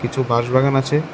কিছু বাঁশ বাগান আছে।